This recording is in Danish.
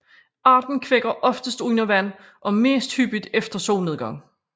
Arten kvækker oftest under vand og mest hyppigt efter solnedgang